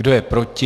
Kdo je proti?